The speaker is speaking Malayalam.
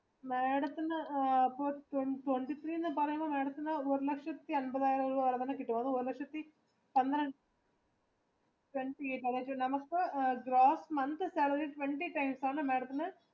madamത്തിന് twenty three എന്ന പറയുമ്പോൾ madamത്തിന് ഒരു ലക്ഷത്തി അമ്പതിനായിരം monthly salary twenty days ആണ് mdamത്തിന്